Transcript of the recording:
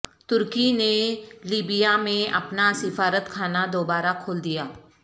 ترکی نے لیبیا میں اپنا سفارت خانہ دوبارہ کھول دیا